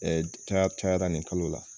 Ɛɛ ca caya la nin kalo la.